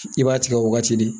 I b'a tigɛ o wagati de